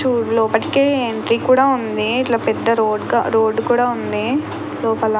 చు లోపటికి ఎంట్రీ కూడ ఉంది. ఇట్లా పెద్ద రోడ్ కా రోడ్డు కూడా ఉంది. లోపల --